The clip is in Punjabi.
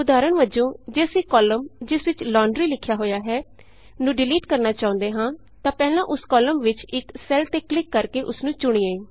ਉਦਾਹਰਣ ਵਜੋਂ ਜੇ ਅਸੀਂ ਕਾਲਮਜਿਸ ਵਿਚ ਲੌੰਡਰੀ ਲੌਂਡਰੀ ਲਿਖਿਆ ਹੋਇਆ ਹੈ ਨੂੰ ਡਿਲੀਟ ਕਰਨਾ ਚਾਹੁੰਦੇ ਹਾਂ ਤਾਂ ਪਹਿਲਾਂ ਉਸ ਕਾਲਮ ਵਿਚ ਇਕ ਸੈੱਲ ਤੇ ਕਲਿਕ ਕਰਕੇ ਉਸਨੂੰ ਚੁਣੀਏ